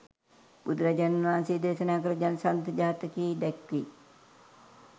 බුදුරජාණන් වහන්සේ දේශනා කළ ජනසන්ධ ජාතකයේ දැක්වෙයි.